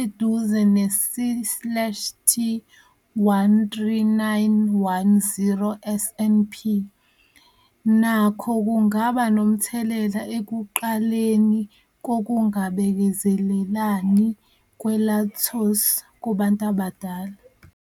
eduze ne-C slash T-13910 SNP, nakho kungaba nomthelela ekuqaleni kokungabekezelelani kwe-lactose kubantu abadala.